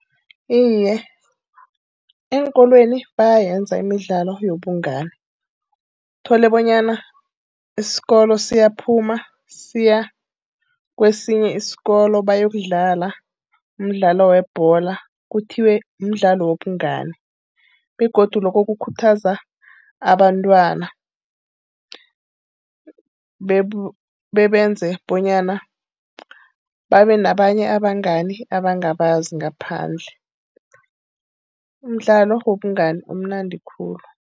Iye, eenkolweni bayayenza imidlalo yobungani. Uthole bonyana isikolo siyaphuma siya kwesinye isikolo bayokudlala umdlalo webholo. Kuthiwe mdlalo wobungani begodu lokho kukhuthaza abantwana bebenze bonyana babe nabanye abangani abangabazi ngaphandle. Umdlalo wobungani umnandi khulu.